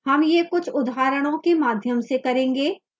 हम यह कुछ उदाहरणों के माध्यम से करेंगे